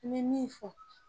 N bɛ min fɔ